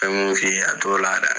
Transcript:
N be mun f'i ye a t'ola dɛ